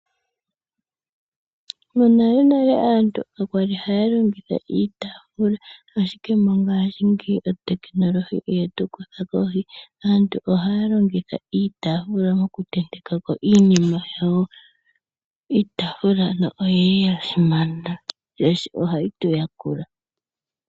Monalenale aantu kakwali hata longitha iitaafula, ashike mongaashingeyi otekinolohi oyetu kutha kohi aantu ohaya longitha iitaafula oku tentekako iinima yayo. Iitaafula oya simana oshoka ohayi tuyakula.